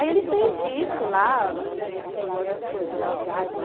Aí ele fez isso lá, as coisas legais lá,